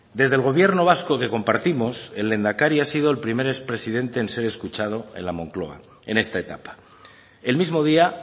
desde el gobierno vasco que compartimos el lehendakari ha sido el primer expresidente en ser escuchado en la moncloa en esta etapa el mismo día